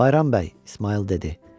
Bayram bəy, İsmayıl dedi.